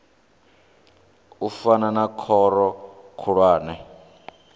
u fana na khoro khulwane